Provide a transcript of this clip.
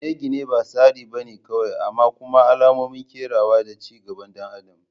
Gine-gine ba tsari ba ne kawai amma kuma alamomin kerawa da ci gaban ɗan adam